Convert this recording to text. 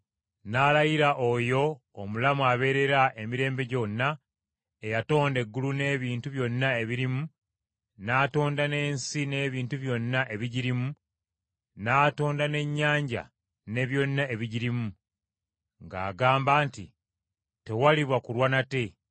n’alayira Oyo omulamu abeerera emirembe gyonna, eyatonda eggulu n’ebintu byonna ebirimu, n’atonda n’ensi n’ebintu byonna ebigirimu, n’atonda n’ennyanja ne byonna ebigirimu, ng’agamba nti, “Tewaliba kulwa nate.